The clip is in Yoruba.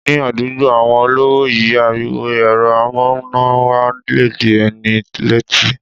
Ní àdúgbò àwọn olówó yí, ariwo èrọ amúnáwa le dí ẹni lẹ́tí.